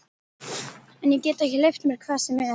En ég get ekki leyft mér hvað sem er!